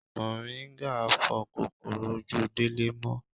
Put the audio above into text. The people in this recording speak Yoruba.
Moringa fo kòkòrò ojú Délé mó.